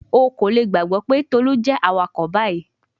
O ko le gbagbọ pe Tolu jẹ awakọ bayi